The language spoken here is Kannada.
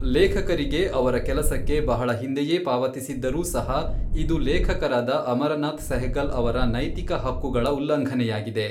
ಲೇಖಕರಿಗೆ ಅವರ ಕೆಲಸಕ್ಕೆ ಬಹಳ ಹಿಂದೆಯೇ ಪಾವತಿಸಿದ್ದರೂ ಸಹ ಇದು ಲೇಖಕರಾದ ಅಮರನಾಥ್ ಸೆಹಗಲ್ ಅವರ ನೈತಿಕ ಹಕ್ಕುಗಳ ಉಲ್ಲಂಘನೆಯಾಗಿದೆ.